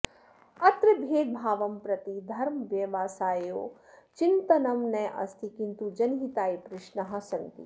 अत्र भेदभावं प्रति धर्मव्यवसाययोः चिन्तनं नास्ति किन्तु जनहिताय प्रश्नाः सन्ति